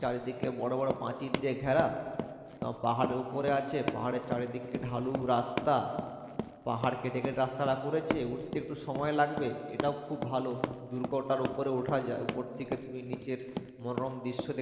চারিদিকে বড় বড় প্রাচির দিয়ে ঘেরা তা পাহাড়ের উপরে আছে পাহাড়ে চারিদিকটা ঢালু রাস্তা পাহাড় কেটে কেটে রাস্তাটা করেছে উঠতে একটু সময় লাগবে সেটাও খুব ভালো দূর্গটার উপরে উঠা যায় উপর থেকে তুাম নিচের মনোরম দৃশ্য দে